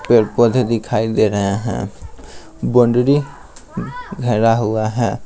पेड़-पौधे दिखाई दे रहे हैं बोंडरी घेरा हुआ है।